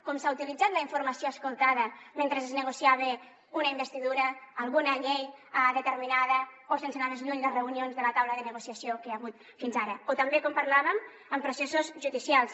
com s’ha utilitzat la informació escoltada mentre es negociava una investidura alguna llei determinada o sense anar més lluny les reunions de la taula de negociació que hi ha hagut fins ara o també com parlàvem en processos judicials